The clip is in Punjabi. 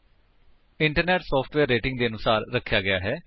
ਇੰਟਰਨੈਟ ਸੋਫਟਵੇਅਰ ਰੇਟਿੰਗ ਦੇ ਆਰਡਰ ਅਨੁਸਾਰ ਰਖਿਆ ਗਿਆ ਹੈ